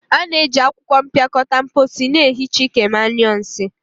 A na-eji akwụkwọ mpịakọta mposi na-ehicha ike ma nyuo nsii.